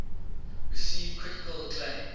received critical acclaim